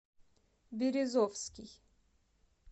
березовский